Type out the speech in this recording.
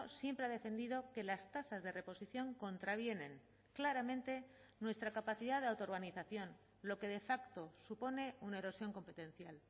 siempre ha defendido que las tasas de reposición contravienen claramente nuestra capacidad de autoorganización lo que de facto supone una erosión competencial